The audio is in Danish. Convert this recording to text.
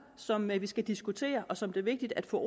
som vi skal diskutere og som det er vigtigt at få